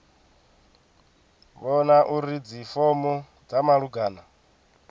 vhona uri dzifomo dza malugana